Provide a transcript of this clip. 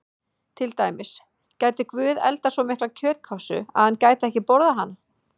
Til dæmis: Gæti Guð eldað svo mikla kjötkássu að hann gæti ekki borðað hana?